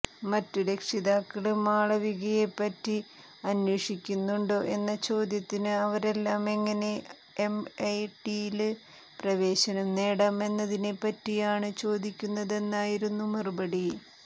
മറ്റു രക്ഷിതാക്കള് മാളവികയെപ്പറ്റി അന്വേഷിക്കുന്നുണ്ടോ എന്ന ചോദ്യത്തിന് അവരെല്ലാം എങ്ങനെ എംഐടിയില് പ്രവേശനം നേടാം എന്നതിനെപ്പറ്റിയാണു ചോദിക്കുന്നതെന്നായിരുന്നു മറുപടി